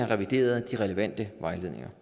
revideret de relevante vejledninger